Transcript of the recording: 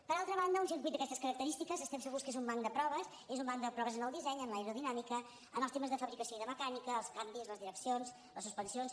per altra banda un circuit d’aquestes característiques estem segurs que és un banc de proves és un banc de proves en el disseny en l’aerodinàmica en els temes de fabricació i de mecànica els canvis les direccions les suspensions